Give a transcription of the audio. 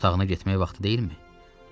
Öz otağına getmək vaxtı deyilmi?